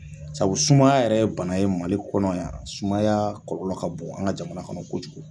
Sabu sumaya yɛrɛ ye bana ye Mali kɔnɔ yan sumaya kɔlɔlɔ ka bon an ka jamana kɔnɔ kojugu.